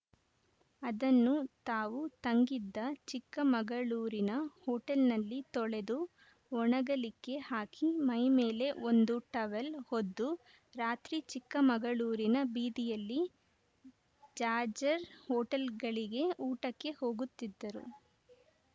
ಅದನ್ನು ತಾವು ತಂಗಿದ್ದ ಚಿಕ್ಕಮಗಳೂರಿನ ಹೋಟೆಲ್‌ನಲ್ಲಿ ತೊಳೆದು ಒಣಗಲಿಕ್ಕೆ ಹಾಕಿ ಮೈಮೇಲೆ ಒಂದು ಟವೆಲ್‌ ಹೊದ್ದು ರಾತ್ರಿ ಚಿಕ್ಕಮಗಳೂರಿನ ಬೀದಿಯಲ್ಲಿ ಜಾಜರ್ ಹೋಟೆಲ್‌ಗಳಿಗೆ ಊಟಕ್ಕೆ ಹೋಗುತ್ತಿದ್ದರು